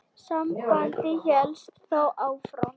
Samband hélst þó áfram.